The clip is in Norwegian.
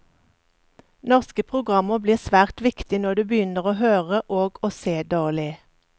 Norske programmer blir svært viktige når du begynner å høre og å se dårlig.